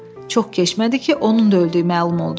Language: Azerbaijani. Çox keçmədi ki, onun da öldüyü məlum oldu.